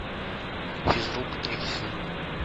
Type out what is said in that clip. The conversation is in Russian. физрук третий сезон